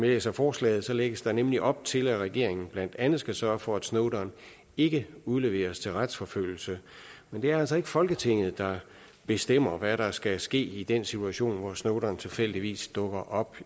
læser forslaget lægges der nemlig op til at regeringen blandt andet skal sørge for at snowden ikke udleveres til retsforfølgelse men det er altså ikke folketinget der bestemmer hvad der skal ske i den situation hvor snowden tilfældigvis dukker op